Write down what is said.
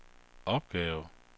opgave